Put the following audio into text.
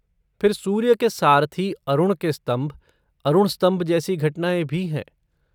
फिर सूर्य के सारथी अरुण के स्तंभ, अरुण स्तंभ जैसी घटनाएँ भी हैं।